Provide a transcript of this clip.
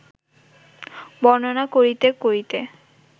বর্ণনা করিতে করিতে